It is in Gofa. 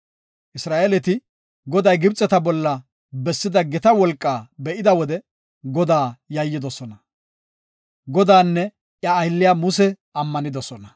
Isra7eeleti Goday Gibxeta bolla bessida gita wolqaa be7ida wode Godaa yayyidosona. Godaanne iya aylliya Muse ammanidosona.